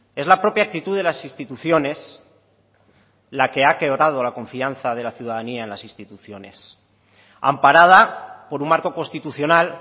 es la propia actitud de las instituciones la que ha quebrado la confianza de la ciudadanía en las instituciones amparada por un marco constitucional